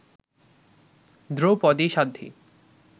Draupadi Sadhvi